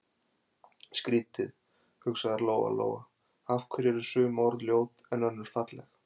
Skrýtið, hugsaði Lóa-Lóa, af hverju eru sum orð ljót en önnur falleg?